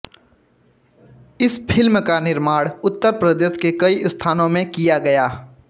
इस फिल्म का निर्माण उत्तर प्रदेश के कई स्थानों में किया गया